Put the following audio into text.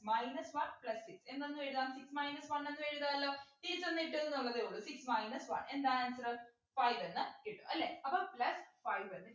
minus one plus six എന്തെന്നും എഴുതാം six minus one എന്നും എഴുതാലോ തിരിച്ചൊന്നു ഇട്ടുന്നുള്ളതേ ഉള്ളു six minus one എന്താണ് answer five എന്ന് കിട്ടും അല്ലെ അപ്പൊ plus five എന്ന് കിട്ടും